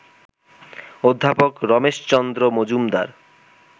অধ্যাপক রমেশচন্দ্র মজুমদার